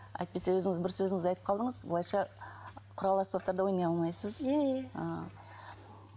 әйтпесе өзіңіз бір сөзіңізде айтып қалдыңыз былайша құрал аспаптарда ойнай алмайсыз иә иә ыыы